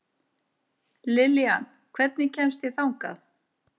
Liljan, hvernig kemst ég þangað?